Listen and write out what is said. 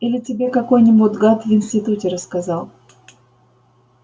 или тебе какой-нибудь гад в институте рассказал